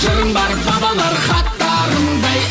жырым бар бабалар хаттарындай